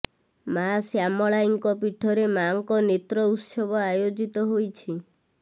ମା ଶ୍ୟାମଳାଇଙ୍କ ପୀଠରେ ମାଆଙ୍କ ନେତ୍ର ଉତ୍ସବ ଆୟୋଜିତ ହୋଇଛି